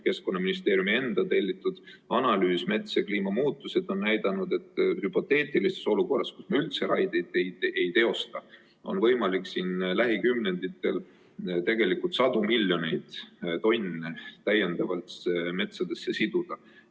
Keskkonnaministeeriumi enda tellitud analüüs "Mets ja kliimamuutused" näitab, et hüpoteetilises olukorras, kus me üldse raieid ei teosta, oleks võimalik lähikümnenditel tegelikult sadu miljoneid tonne täiendavalt metsadesse siduda.